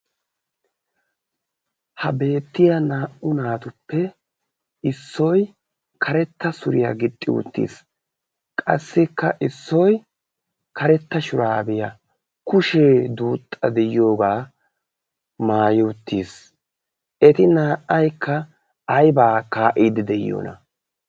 ha beettiya naa'u naatuppe issoy karetta suriyaa gixxi uttiis. qassikka issoy karetta shuraabiyaa kushee duuxxa de'iyoogaa maayi uttiis. eti naa'aikka aybaa kaa'iidi de'iyoona?